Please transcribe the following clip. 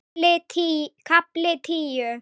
KAFLI TÍU